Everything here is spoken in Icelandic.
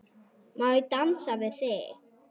Ertu viss?